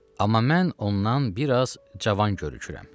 Amma mən ondan biraz cavan görünürəm.